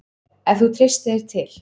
Ef þú treystir þér til.